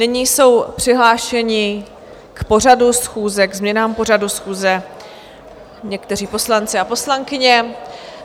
Nyní jsou přihlášeni k pořadu schůze, k změnám pořadu schůze, někteří poslanci a poslankyně.